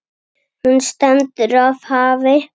Hún stendur af hafi.